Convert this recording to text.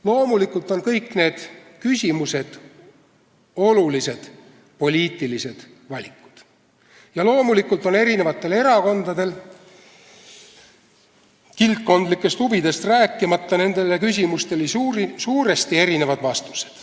Loomulikult on kõik need küsimused olulised poliitilised valikud ja loomulikult on erakondadel – kildkondlikest huvidest rääkimata – nendele küsimustele suuresti erinevad vastused.